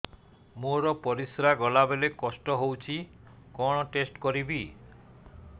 ମୋର ପରିସ୍ରା ଗଲାବେଳେ କଷ୍ଟ ହଉଚି କଣ ଟେଷ୍ଟ କରିବି